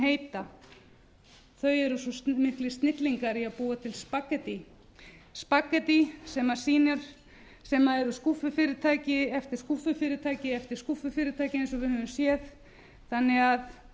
heita þau eru svo miklir snillingar í að búa til spagettí spaghetty sem eru skúffufyrirtæki eftir skúffufyrirtæki eftir skúffufyrirtæki eins og við höfum séð þannig að